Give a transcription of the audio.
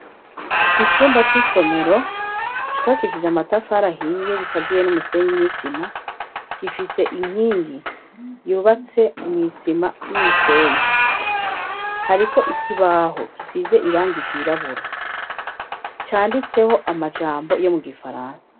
Icumba c'isomero cubakisije amatafari ahiye, gikaziye n'umusenyi n'isima gifise inkingi yubatse mw'isima n'umusenyi. Hariko ikibaho gisize irangi ry'irabura. Canditseho amajambo yo mu gifaransa.